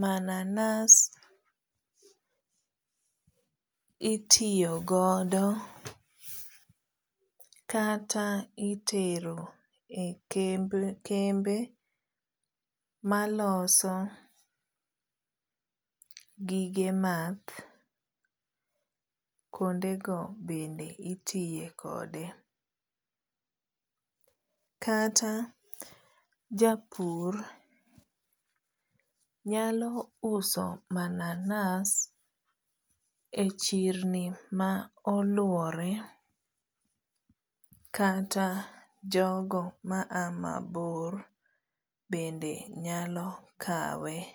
mananas itiyogodo kata itero e kembe maloso gige math kuonde go bende itiyekode, kata japur nyauso mananas e chirni molwore kata jogo maa mabor bende nyalo kawe